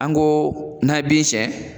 An ko n'a ye bin siɲɛ